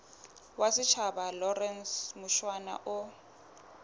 wa setjhaba lawrence mushwana o